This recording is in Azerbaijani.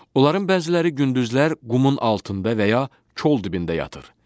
Onların bəziləri gündüzlər qumun altında və ya kol dibində yatır.